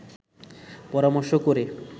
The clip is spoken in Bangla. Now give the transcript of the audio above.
পরামর্শ করে